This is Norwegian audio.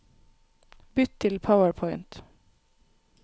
Bytt til PowerPoint